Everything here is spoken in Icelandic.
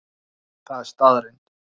Það er staðreynd.